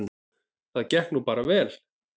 Það gekk nú bara vel.